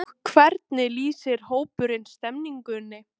Og hvernig lýsir hópurinn stemningunni?